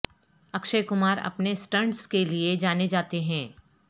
اکشے کمار اپنے سٹنٹس کے لیے جانے جاتے ہیں